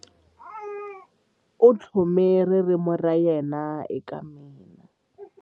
U tlhome ririmi ra yena eka mina.